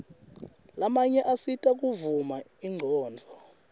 lamanye asita kuvula ingcondvo